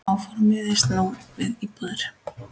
Áformin miðist nú við íbúðir.